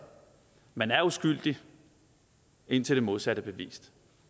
man er uskyldig indtil det modsatte er bevist